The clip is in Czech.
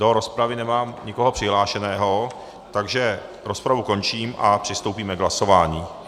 Do rozpravy nemám nikoho přihlášeného, takže rozpravu končím a přistoupíme k hlasování.